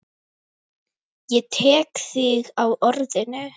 Ég tek þig á orðinu!